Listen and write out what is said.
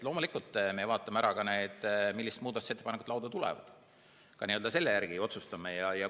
Loomulikult, me vaatame, millised muudatusettepanekud lauda tulevad, ka selle järgi otsustame.